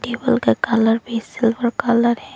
Table का colour भी silver colour है।